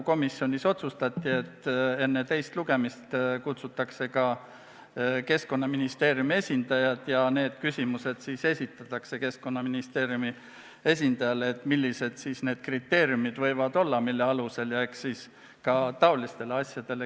Komisjonis otsustati, et enne teist lugemist kutsutakse kohale ka Keskkonnaministeeriumi esindajad ja need küsimused esitatakse ministeeriumi esindajatele, et millised võiksid need kriteeriumid olla, mille alusel otsustada.